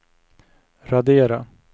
radera